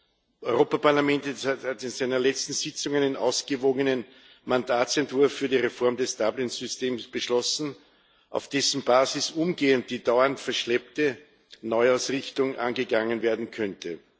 Das Europäische Parlament hat in seiner letzten Sitzung einen ausgewogenen Mandatsentwurf für die Reform des Dublin Systems beschlossen, auf dessen Basis umgehend die dauernd verschleppte Neuausrichtung angegangen werden könnte.